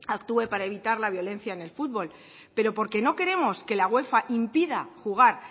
actúe para evitar la violencia en el fútbol pero porque no queremos que la uefa impida jugar